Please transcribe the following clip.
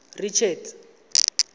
richards